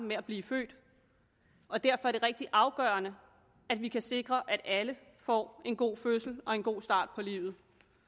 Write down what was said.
med at blive født og derfor er det rigtig afgørende at vi kan sikre at alle får en god fødsel og en god start på livet